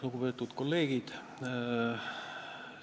Lugupeetud kolleegid!